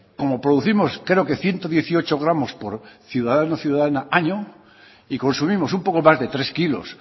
como producimos creo que ciento dieciocho gramos por ciudadano a año y consumimos un poco más de tres kilos